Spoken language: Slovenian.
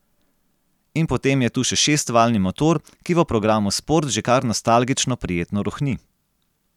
In potem je tu še šestvaljni motor, ki v programu sport že kar nostalgično prijetno rohni.